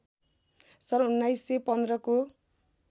सन् १९१५ को